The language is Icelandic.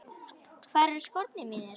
Hvar eru skórnir mínir?